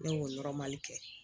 Ne y'o kɛ